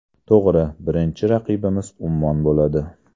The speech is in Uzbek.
To‘g‘ri, birinchi raqibimiz Ummon bo‘ladi.